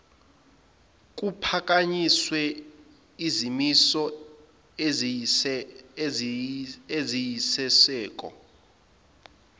kuphakanyiswe izimiso eziyisisekelo